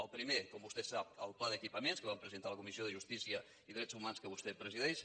el primer com vostè sap el pla d’equipaments que vam presentar a la comissió de justícia i drets hu·mans que vostè presideix